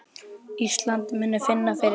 Ísland muni finna fyrir því.